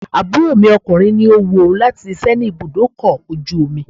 Àbúrò mi ọkùnrin ní ó wu òun láti síse ní ibùdó ọkọ̀ ojú omi.